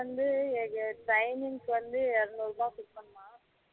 வந்து அது வந்து timing வந்து இறநூறு ரூபாய் குடுப்பாங்கலாம்